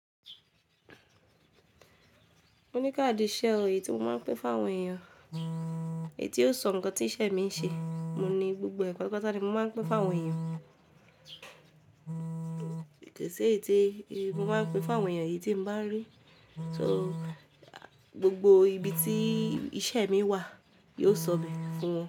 Mo ní káàdì iṣẹ́, èyí tí mo máa ń pín fún àwọn èèyàn, èyí tí yóò sọ nǹkan tí iṣẹ́ mi ń ṣe. Mo ní gbogbo e patapata ni mo máa ń pín fún àwọn èèyàn, ko í ṣi èyí tí mo máa ń pín fún àwọn èèyàn yìí tí mo bá ń rí. So gbogbo ibi tí iṣẹ́ mi wà yóò sọ̀be fún wọn.